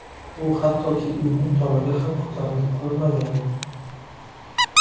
U hattoki uyning tomiga ham ko‘tarilib ko‘rmagan.